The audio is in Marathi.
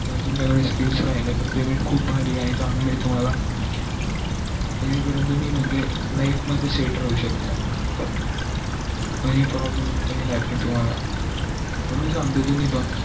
जर तुमच्या कडे skills आहेत त payment खूप भारी आहे चांगलं आहे तुम्हला जेणे करून तुम्ही म्हणजे life मध्ये set होऊ शकता हे problem पण येणार नाहीत तुम्हला म्हणून सांगतो तुम्ही पण